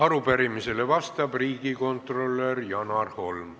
Arupärimisele vastab riigikontrolör Janar Holm.